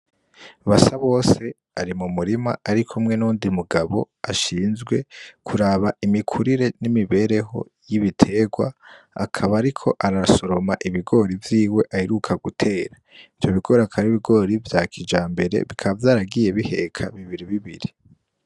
Basabose ari mu murima arikumwe nuwundi mugabo ashinzwe kuraba imikurire n'imibereho y'ibiterwa akaba ariko arasoroma ibigori vyiwe aheruka gutera, ivyo bigori akaba ari ibigori vya kijambere bikaba vyaragiye biheka bibiri bibiri.